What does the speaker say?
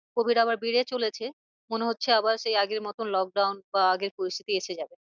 Covid আবার বেড়ে চলেছে। মনে হচ্ছে আবার সেই আগের মতন lockdown বা আগের পরিস্থিতি এসে যাবে।